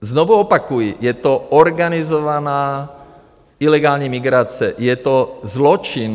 Znovu opakuji, je to organizovaná ilegální migrace, je to zločin.